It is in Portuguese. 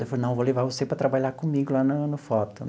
Ele falou, não, vou levar você para trabalhar comigo lá na no foto.